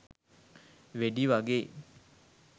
වෙඩි වගේ